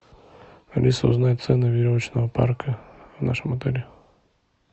алиса узнай цену веревочного парка в нашем отеле